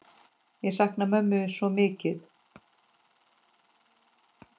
Ég sakna mömmu svo mikið.